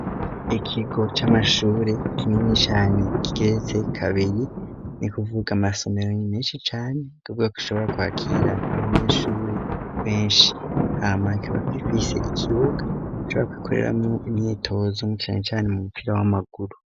Ikigo c'amashuri kinini cane kigeretse kabiri ni kuvuga amasomero menshi cane nukuvuga ko gishobora kwakira abanyeshuri benshi hamakikaba gifise ikibuga bashobora gukoreramwo imyitozo cane cane umupira w'amaguru.